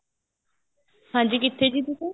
ਹਾਂਜੀ ਕਿੱਥੇ ਜੀ ਤੁਸੀਂ